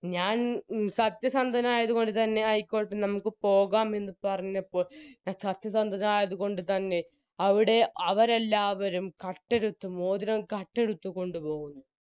ഞാൻ സത്യസന്തനായത് കൊണ്ട് തന്നെ ആയിക്കോട്ടെ നമുക്ക് പോകാമെന്ന് പറഞ്ഞപ്പോൾ സത്യസന്ധത ആയത്കൊണ്ട് തന്നെ അവിടെ അവരെല്ലാവരും കട്ടെടുത്ത് മോതിരം കട്ടെടുത്ത് കൊണ്ടുപോകുന്നു